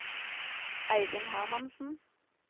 Eivind Hermansen